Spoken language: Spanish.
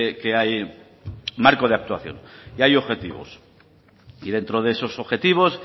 que hay marco de actuación y hay objetivos y dentro de esos objetivos